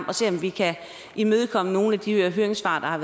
at se om vi kan imødekomme nogle af de høringssvar